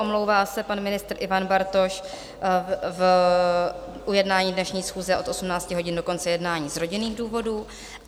Omlouvá se pan ministr Ivan Bartoš z jednání dnešní schůze od 18 hodin do konce jednání z rodinných důvodů.